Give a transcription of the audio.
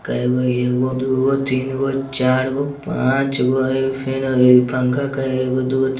कएगो हेय एगो दुगो तीनगो चारगो पाँचगो हेय फैन पंखा केएगो हेय एगो दू गो --